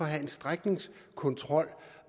have en strækningskontrol